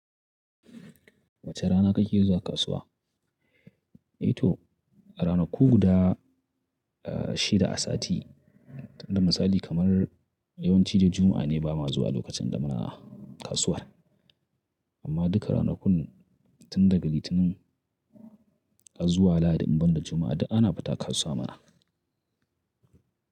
Wace rana kake zuwa kasuwa? Eh to, a ranaku guda, ah, shida a sati. Inda misali kaman yawanci dai Juma'a ne ba ma zuwa lokacin da muna kasuwar. Amma duka ranakun tun daga Litinin zuwa Lahadi, ban da Juma'a da ana fita kasuwa mana.